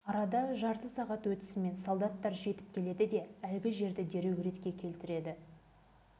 біз осы кезде ғана жар астына жүгіріп түсетінбіз көбісінің есігі терезелері жапсарларымен қоса қатты желден ұшып